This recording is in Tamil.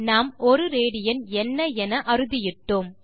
நாம் 1 ராட் என்ன என அறுதியிட்டோம்